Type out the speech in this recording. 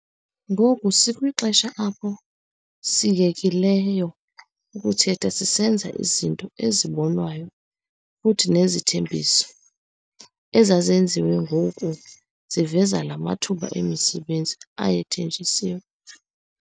Ngoku sikwixesha apho siyekileyo ukuthetha, sisenza izinto ezibonwayo futhi nezithembiso ezazenziwe ngoku ziveza la mathuba emisebenzi ayethenjisiwe.